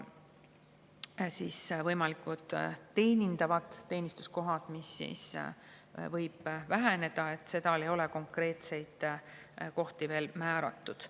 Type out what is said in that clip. Võimalikud teenindavad ametikohad, mis võivad väheneda – neid konkreetseid kohti ei ole veel määratud.